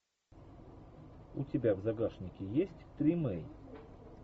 у тебя в загашнике есть тримей